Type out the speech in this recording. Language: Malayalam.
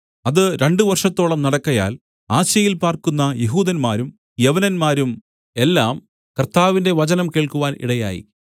അത് രണ്ടു വർഷത്തോളം നടക്കയാൽ ആസ്യയിൽ പാർക്കുന്ന യെഹൂദന്മാരും യവനന്മാരും എല്ലാം കർത്താവിന്റെ വചനം കേൾക്കുവാൻ ഇടയായി